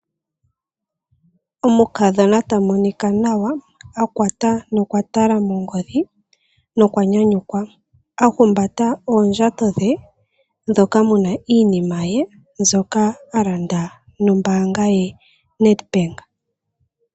Omukadhona ta monika nawa, a kwata nokwatala mongodhi nokwa nyanyukwa. A humbata oondjato dhe moka mu na iinima ye mbyoka a landa nombaanga ye yaNedbank.